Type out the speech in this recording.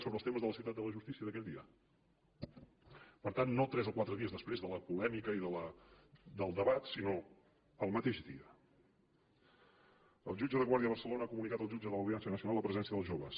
sobre els temes de la ciutat de la justícia d’aquell dia per tant no tres o quatre dies després de la polèmica i del debat sinó el mateix dia el jutge de guàrdia de barcelona ha comunicat al jutge de l’audiència nacional la presència dels joves